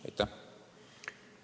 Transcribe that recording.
Aitäh!